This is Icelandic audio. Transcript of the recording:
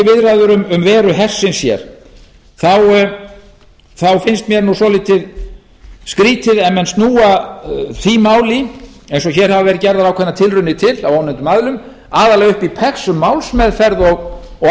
um veru hersins hér þá finnst mér nú svolítið skrýtið ef menn snúa því máli eins og hér hafa verið gerðar ákveðnar tilraunir til af ónefndum aðilum aðallega upp í pex um málsmeðferð og aðferðafræði